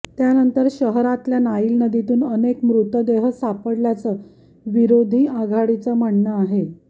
त्यानंतर शहरातल्या नाईल नदीतून अनेक मृतदेह सापडल्याचं विरोधी आघाडीचं म्हणणं आहे